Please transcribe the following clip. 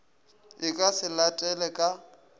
e ka se latele ka